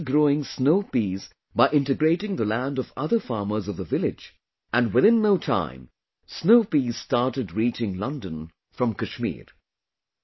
He started growing snow peas by integrating the land of other farmers of the village and within no time, snow peas started reaching London from Kashmir